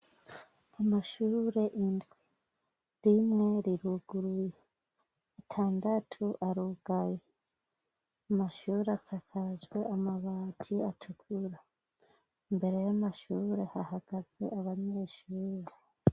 Amashurure indwi rimwe riruguruye itandatu arugayi amashuure asakajwe amabati atukura imbere y'amashurure hahagaze abanyeshure.